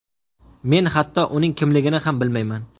Men hatto uning kimligini ham bilmayman”.